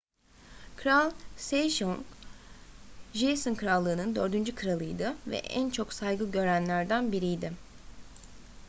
kral sejong joseon krallığı'nın dördüncü kralıydı ve en çok saygı görenlerden biridir